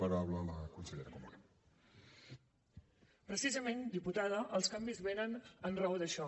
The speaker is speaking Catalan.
precisament diputada els canvis venen en raó d’això